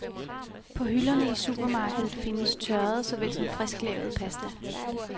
På hylderne i supermarkedet findes tørret så vel som frisklavet pasta.